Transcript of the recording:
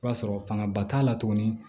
I b'a sɔrɔ fangaba t'a la tuguni